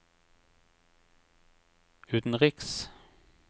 utenriks